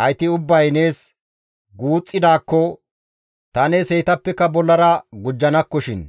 hayti ubbay nees guuxxidaakko ta nees heytappe bollara gujjanakkoshin.